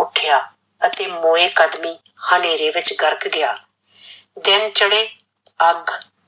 ਉੱਠਿਆ ਅਤੇ ਮੋਏ ਕਦਮੀ ਹਨੇਰੇ ਵਿੱਚ ਗਰਕ ਗਿਆ, ਦਿਨ ਚੜੇ ਅੱਖ